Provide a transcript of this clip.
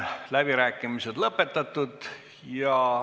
Läbirääkimised on lõppenud.